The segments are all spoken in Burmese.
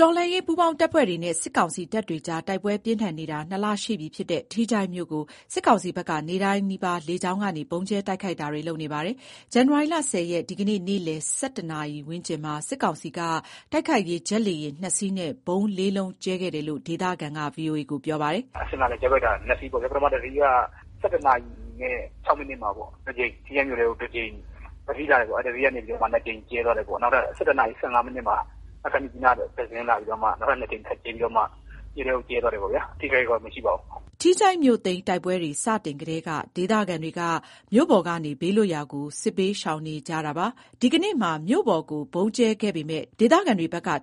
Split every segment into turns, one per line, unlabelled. တော်လှန်ရေး ပူးပေါင်းတပ်ဖွဲ့တွေနဲ့ စစ်ကောင်စီတပ်တွေကြား တိုက်ပွဲပြင်းထန်နေတာ ၂ လ ရှိပြီဖြစ်တဲ့ ထီးချိုင့်မြို့ကို စစ်ကောင်စီဘက်က နေ့တိုင်းနီးပါး လေကြောင်းကနေ ဗုံးကြဲ တိုက်ခိုက်တာတွေ လုပ်နေပါတယ်။ ဇန်နဝါရီ ၁၀ ရက်၊ ဒီကနေ့ နေ့လယ် ၁၁ နာရီ ဝန်းကျင်မှာ စစ်ကောင်စီက တိုက်ခိုက်ရေး ဂျက်လေယာဥ် ၂ စီးနဲ့ ဗုံး ၄ လုံး ကြဲချခဲ့တယ်လို့ ဒေသခံက ပြောပါတယ်
။ “မြစ်ကြီးနားက ဆင်းလာတဲ့ ဂျက်ဖိုက်တာ ၂ စီးပေါ့ဗျာ၊ တစီးက ၁၁ နာရီနဲ့ ၆ မိနစ်လောက်မှာ ထီးချိုင့်မြို့ထဲကို ၂ ကြိမ်၊ တစီးလာပြီး မြို့ထဲကို ၂ ကြိမ် အရင်ပစ်သွားတာပေါ့၊ နောက်ထပ် ၁၁ နာရီ ၁၅ မိနစ်မှာ မြစ်ကြီးနားကပဲ နောက်ထပ်တစီး ထပ်လာပြီးတော့ နောက် ၂ကြိမ် ထပ်ကြဲပြီးတော့မှ မြို့ထဲကို ကြဲသွားတယ်ပေါ့၊ အထိအခိုက်ကတော့ မရှိပါဘူး
။” ထီးချိုင့်မြို့သိမ်း တိုက်ပွဲတွေ စတင်ကတည်းက ဒေသခံတွေက မြို့ပေါ်ကနေ ဘေးလွတ်ရာကို စစ်ဘေးရှောင်နေကြတာ ဖြစ်ပါတယ်။ ဒီကနေ့မှာ မြို့ပေါ်ကို ဗုံးကြဲခဲ့ပေမဲ့ ဒေသခံ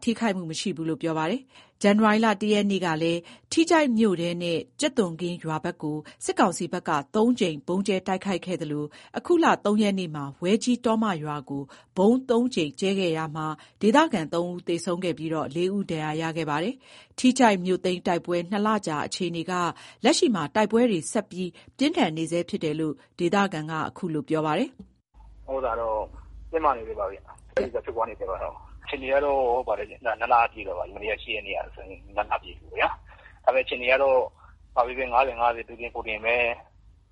ထိခိုက်မှု မရှိဘူးလို့ ပြောပါတယ်။ ဇန်နဝါရီ ၁ ရက်နေ့ကလည်း ထီးချိုင့်မြို့ထဲနဲ့ ကြက်သွန်ခင်းရွာဘက်ကို စစ်ကောင်စီဘက်က ၃ ကြိမ် ဗုံးကြဲတိုက်ခိုက်ခဲ့သလို၊ အခုလ ၃ ရက်နေ့မှာ ဝဲကြီး ရွာကို ဗုံး ၃ ကြိမ်ကြဲခဲ့တာမှာ ဒေသခံ ၃ ဦး သေဆုံးခဲ့ပြီးတော့ ၄ ဦး ဒဏ်ရာ ရခဲ့ပါတယ်။ ထီးချိုင့်မြို့သိမ်းတိုက်ပွဲ ၂ လကြာ အခြေအနေက လက်ရှိမှာ တိုက်ပွဲတွေ ဆက်ပြင်းထန်နေဆဲဖြစ်တယ်လို့ ဒေသခံက ခုလိုပြောပါတယ်
။ “တင်းမာနေဆဲပါဘဲ။ တိုက်ပွဲက ဖြစ်နေဆဲပါပဲဗျ။ အခြေအနေကတော့ ၂ လပြည့်သွားပါပြီ။ မနေ့က ၈ ရက်နေ့ကဆိုရင် ၂ လပြည့်ပြီပေါ့ဗျာ။ ဒါပေမယ့် အခြေအနေကတော့ ၅၀၊ ၅၀ ပါပဲ။ သူတင် ကိုယ်တင်ပဲ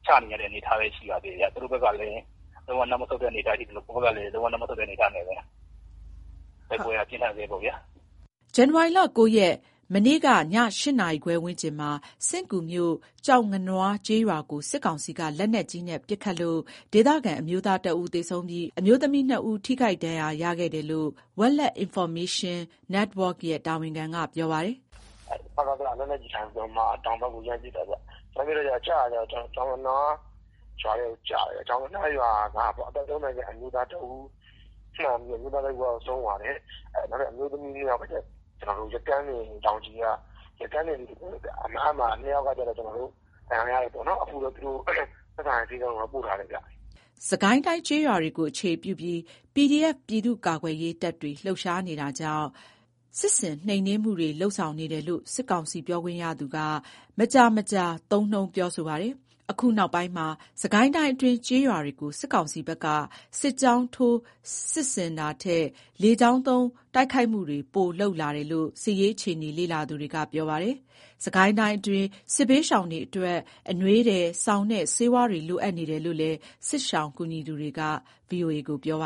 ချနေကြတဲ့ အနေအထားပဲ ရှိပါသေးတယ်ဗျ။ သူတို့ဖက်ကလည်း လုံးဝ နောက်မဆုတ်တဲ့ အနေအထားဖြစ်သလို ကျွန်တော်တို့ဖက်ကလည်း လုံးဝ နောက်မဆုတ်တဲ့ အနေအထားနဲ့ပဲ။ တိုက်ပွဲက ပြင်းထန်ဆဲပေါ့ဗျာ။
” ဇန်နဝါရီ ၉ ရက်၊ မနေ့ကည ၈ နာရီခွဲဝန်းကျင်မှာ စဥ့်ကူးမြို့ ကျောက်ငနွား ကျေးရွာကို စစ်ကောင်စီက လက်နက်ကြီးနဲ့ ပစ်ခတ်လို့ ဒေသခံ အမျိုးသားတစ်ဦး သေဆုံးပြီး အမျိုးသမီး ၂ ဦး ထိခိုက်ဒဏ်ရာ ရခဲ့တယ်လို့ Welet Informational Network ရဲ့ တာဝန်ခံက ပြောပါတယ်
။ “စကစ က လက်နက်ကြီးအထိုင်ကနေ တောင်ဖက်ကို လှမ်းပစ်တာဗျ။ ကျတာက ကျောက်ငနွား ရွာထဲကို ကျတယ်ဗျ။ ရွာထဲက အသက် ၃၀ ခန့် အမျိုးသားတစ်ဦး ထိမှန်ပြီးတော့ အဲ့ အမျိုးသားကတော့ ဆုံးသွားတယ်။ နောက် အမျိုးသမီး ၂ ယောက်ကကျတော့ ယက်ကန်းစင် တောင်ခြေက အဲ့အနားမှာ ၂ ယောက်ကကျတော့ ဒဏ်ရာ ရတယ်ပေါ့နော်။ အခုတော့သက်ဆိုင်ရာ ဆေးခန်းကို ပို့ထားတယ်ဗျ။
” စစ်ကိုင်းတိုင်းကျေးရွာတွေကို အခြေပြုပြီး PDF ပြည်သူ့ကာကွယ်ရေးတပ်တွေ လှုပ်ရှားနေတာကြောင့်၊ စစ်ဆင် နှိမ်နင်းမှုတွေ လုပ်ဆောင်နေတယ်လို့ စစ်ကောင်စီပြောခွင့်ရသူက မကြာမကြာ သုံးနှုန်းပြောဆိုပါတယ်။ အခုနောက်ပိုင်းမှာ စစ်ကိုင်းတိုင်းအတွင်း ကျေးရွာတွေကို စစ်ကောင်စီဘက်က စစ်ကြောင်းထိုး စစ်ဆင်တာထက်၊ လေကြောင်းသုံး တိုက်ခိုက်မှုတွေ ပိုလုပ်လာတယ်လို့ စစ်ရေးအခြေအနေ လေ့လာသူတွေက ပြောကြပါတယ်။ စစ်ကိုင်းတိုင်းအတွင်းက စစ်ဘေးရှောင်တွေအတွက် အနွေးထည်၊ စောင်နဲ့ ဆေးဝါးတွေ လိုအပ်နေတယ်လို့လည်း စစ်ရှောင်ကူညီသူတွေက ပြောကြပါ